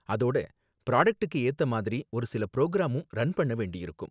அதோட ப்ராடக்ட்டுக்கு ஏத்த மாதிரி ஒரு சில புரோகிராமும் ரன் பண்ண வேண்டியிருக்கும்